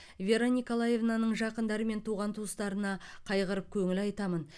вера николаевнаның жақындары мен туған туыстарына қайғырып көңіл айтамын